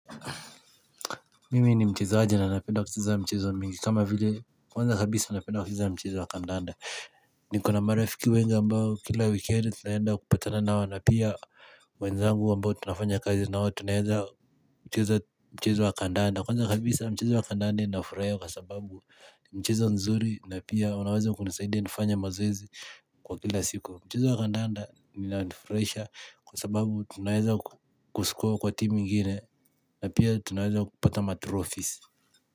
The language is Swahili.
Mimi ni mchezaji na napenda kucheza michezo mingi kama vile, kwanza kabisa napenda kucheza mchezo wa kandanda nikona marafiki wengi ambao kila wikendi tunaenda kupatana nao na pia wenzangu ambao tunafanya kazi nao tunaweza cheza mchezo wa kandanda Kwanza kabisa mchezo wa kandanda inafurahisha kwa sababu ni mchezo nzuri na pia unaweza kuni saidia nifanye mazoezi kwa kila siku Mchezo wa kandanda linanifurahisha kwa sababu tunaweza kuscore kwa timu ingine na pia tuweza kupata matrofis.